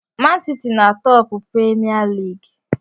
Mansiti na-atọpụ premia lịịgị